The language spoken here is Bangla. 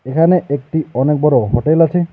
এখানে একটি অনেক বড়ো হোটেল আছে।